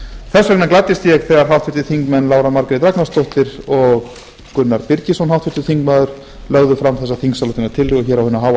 þess vegna gladdist ég þegar háttvirtir þingmenn lára margrét ragnarsdóttir og gunnar birgisson lögðu fram þessa þingsályktunartillögu hér á hinu háa